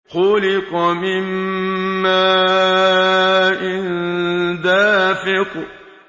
خُلِقَ مِن مَّاءٍ دَافِقٍ